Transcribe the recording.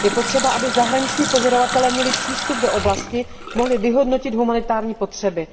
Je potřeba, aby zahraniční pozorovatelé měli přístup do oblasti, mohli vyhodnotit humanitární potřeby.